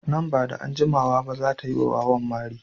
Nan ba da jimawa ba za ta yi wa wawan mari.